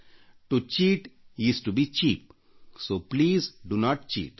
ವಂಚನೆ ಮಾಡುವುದು ಕೀಳುಹೀಗಾಗಿ ದಯವಿಟ್ಟು ನಕಲು ಮಾಡಬೇಡಿ